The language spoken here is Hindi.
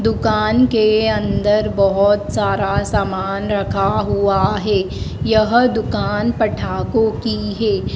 दुकान के अंदर बहोत सारा सामान रखा हुआ है यह दुकान पठाको की है।